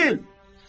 İtil!